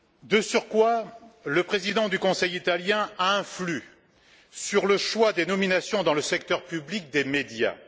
De surcroît, le président du Conseil italien influe sur le choix des nominations dans le secteur public des médias.